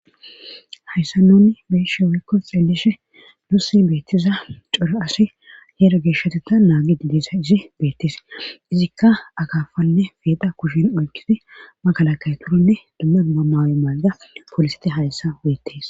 hayyssa nuuni bee7ishe woykko zeelishe nuus beettiza cora asi hhera geeshtetea naagidi dee7izasyssi beetees izikka akaafanne peexa kushen oykkidi makalaketanne dmma dumma mayo mayida pooliseti hayssaan beettes